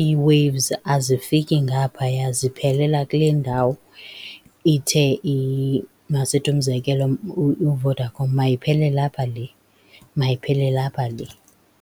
ii-waves azifiki ngaphaya, ziphelela kule ndawo ithe , masithi umzekelo uVodacom mayiphelele apha le, mayiphelele apha le.